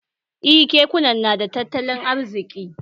Eh kekuna nada tattalin arziki